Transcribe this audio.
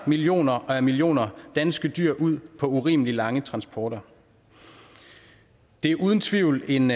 millioner og atter millioner danske dyr ud på urimeligt lange transporter det er uden tvivl en